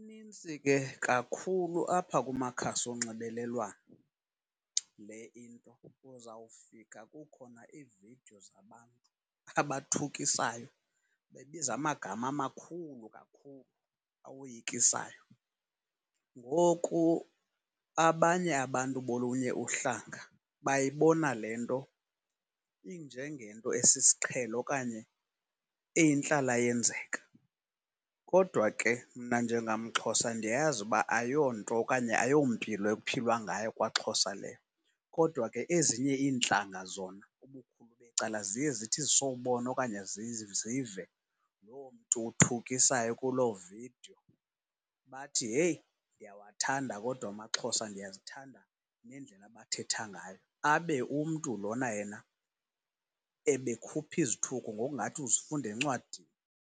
Inintsi ke kakhulu apha kumakhasi onxibelelwano, le into uzawufika kukhona iividiyo zabantu abathukisayo, bebiza amagama amakhulu kakhulu awoyikisayo. Ngoku abanye abantu bolunye uhlanga bayibona le nto injengento esisiqhelo okanye eyintlalayenzeka. Kodwa ke, mna njengamXhosa, ndiyayazi ukuba ayonto okanye ayompilo ekuphilwa ngayo kwaXhosa leyo. Kodwa ke ezinye iintlanga zona ubukhulu becala ziye zithi zisawubona okanye zive loo mntu uthukisayo kuloo vidiyo bathi, heyi, ndiyawathanda kodwa amaXhosa, ndiyazithanda neendlela abathetha ngayo, abe umntu lona yena ebekhupha izithuko ngokungathi uzifunda encwadini.